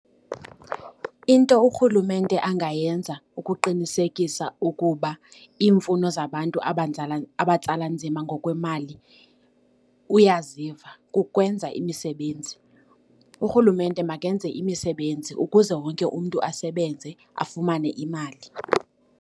Into urhulumente angayenza ukuqinisekisa ukuba iimfuno zabantu abatsala nzima ngokwemali uyaziva kukwenza imisebenzi. Urhulumente makenze imisebenzi ukuze wonke umntu asebenze afumane imali.